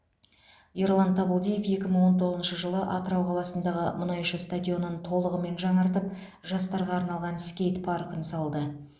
ерлан табылдиев екі мың он тоғызыншы жылы атырау қаласындағы мұнайшы стадионын толығымен жаңартып жастарға арналған скейт паркін салды